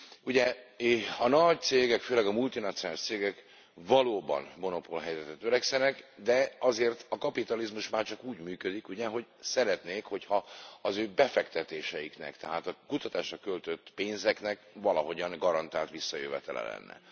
Ugye a nagy cégek, főleg a multinacionális cégek valóban monopolhelyzetre törekszenek, de azért a kapitalizmus már csak úgy működik ugye, hogy szeretnék, hogyha az ő befektetéseiknek, tehát a kutatásra költött pénzeknek valahogyan garantált visszajövetele lenne.